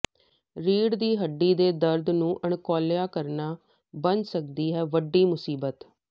ਰੀੜ ਦੀ ਹੱਡੀ ਦੇ ਦਰਦ ਨੂੰ ਅਣਗੌਲਿਆ ਕਰਨਾ ਬਣ ਸਕਦੀ ਹੈ ਵੱਡੀ ਮੁਸੀਬਤ